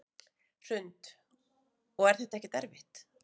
Hrund: Og er þetta ekkert erfitt?